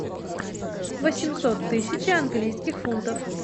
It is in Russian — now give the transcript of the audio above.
восемьсот тысяч английских фунтов